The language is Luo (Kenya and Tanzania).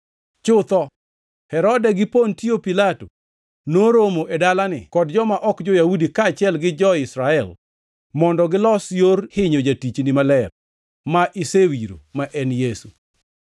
Chutho, Herode gi Pontio Pilato noromo e dalani kod joma ok jo-Yahudi kaachiel gi jo-Israel mondo gilos yor hinyo Jatichni Maler ma isewiro, ma en Yesu.